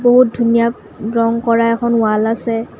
বহুত ধুনীয়া ৰং কৰা এখন ৱাল্ আছে।